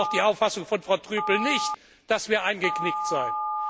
Ich teile die Auffassung von Frau Trüpel nicht, dass wir eingeknickt seien.